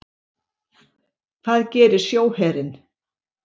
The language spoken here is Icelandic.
Hvað gerir sjóherinn?